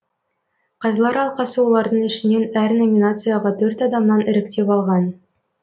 қазылар алқасы олардың ішінен әр номинацияға төрт адамнан іріктеп алған